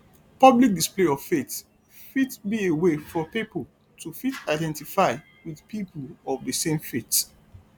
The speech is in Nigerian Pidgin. public display of faith fit be a way for pipo to fit identify with people of di same faith